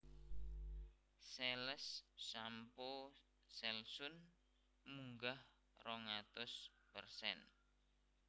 Sales shampoo Selsun munggah rong atus persen